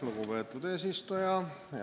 Lugupeetud eesistuja!